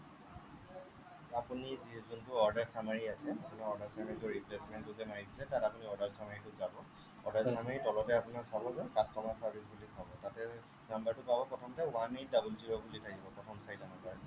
আপুনি যোনটো order summery আছে সেই order summery গৈ replacement টো যে মাৰিছিলে তাত আপুনি order summery ত যাব order summery ৰ তলতে আপোনাৰ চাব যে customer service বুলি পাব তাতে number টো পাব প্ৰথমতে one eight double zero বুলি থাকিব প্ৰথম চাৰিটা number